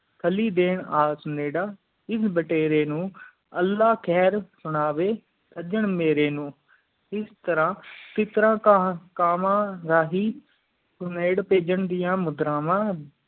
ਖਾਲੀ ਦਿਨ ਆ ਸੁਣੀਰਾ ਇਸ ਬਟੇਰ ਨੂੰ ਅਲਾਹ ਖੈਰ ਸੁਣਾਵੀ ਸਾਜਾਂ ਮੇਰੀ ਨੂੰ ਇਸ ਤਰਾਹ ਤਿੱਤਰਾਂ ਕਾਵਾਂ ਰਾਹੀਂ ਸੁਮੇਰ ਪੈਜਹਾਂ ਦੀਆਂ ਮੁਦਰਾਵਾਂ